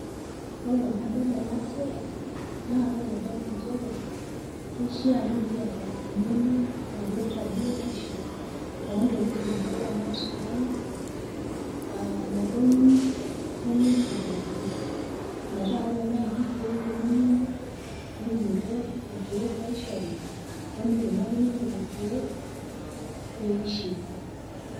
Ore tenadol ena siai naa kaaitadamu inchere keishia nikiata eng'eno naipirta biotisho oontokitin nikiramat tiang aa imotonyik ongu'uesin pookin meetaa ore naaji peelo nemuoyu niki nikiyiolou irkiek oshori nikiyiolou ajo kaji eikunakini lelo kiel peishiu